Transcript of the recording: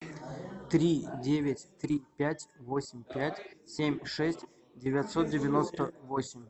три девять три пять восемь пять семь шесть девятьсот девяносто восемь